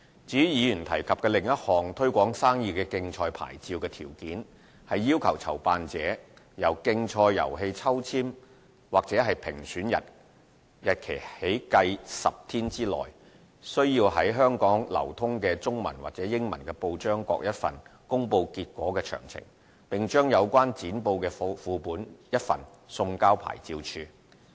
至於議員提及的另一項"推廣生意的競賽牌照"的條件，是要求籌辦者由競賽遊戲抽籤或評選日期起計10天內，須在香港流通的中文及英文報章各一份公布結果詳情，並將有關剪報的副本一份送交牌照事務處。